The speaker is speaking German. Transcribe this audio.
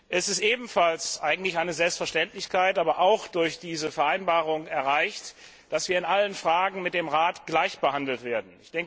Es ist ebenfalls eigentlich eine Selbstverständlichkeit, aber auch durch diese Vereinbarung erreicht, dass wir in allen Fragen mit dem Rat gleich behandelt werden.